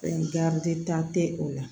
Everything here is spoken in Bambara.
Ɛɛ garijɛ o la